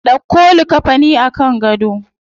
Dauko likkafanin a kan gado.